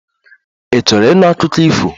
Ị chọrọ ịnụ akụkọ ifo?